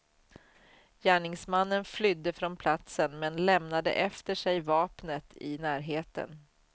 Gärningsmannen flydde från platsen, men lämnade efter sig vapnet i närheten.